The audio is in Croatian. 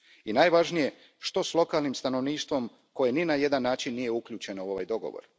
I najvažnije, što s lokalnim stanovništvom koje ni na jedan način nije uključeno u ovaj dogovor?